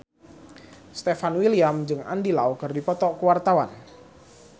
Stefan William jeung Andy Lau keur dipoto ku wartawan